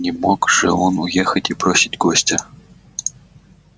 не мог же он уехать и бросить гостя